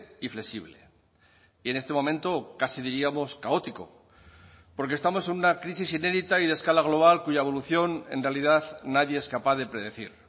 y flexible y en este momento casi diríamos caótico porque estamos en una crisis inédita y de escala global cuya evolución en realidad nadie es capaz de predecir